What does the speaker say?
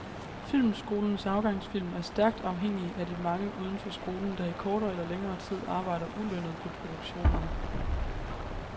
Filmskolens afgangsfilm er stærkt afhængig af de mange uden for skolen, der i kortere eller længere tid arbejder ulønnet på produktionerne.